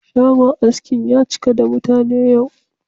Shagon askin ya cika da mutane yau.